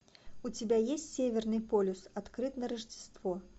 у тебя есть северный полюс открыт на рождество